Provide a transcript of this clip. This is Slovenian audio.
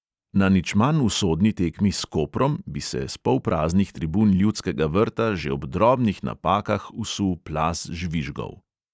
Na nič manj usodni tekmi s koprom bi se s polpraznih tribun ljudskega vrta že ob drobnih napakah vsul plaz žvižgov.